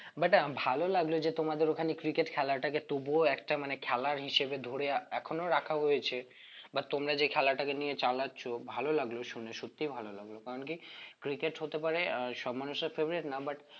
but ah ভালো লাগলো যে তোমাদের ওখানে cricket খেলাটাকে তবুও একটা মানে খেলার হিসেবে ধরে এখনো রাখা হয়েছে বা তোমরা যে খেলাটাকে নিয়ে চালাচ্ছো ভালো লাগলো শুনে সত্যি ভালো লাগলো কারণ কি cricket হতে পারে আহ সব মানুষের favourite না but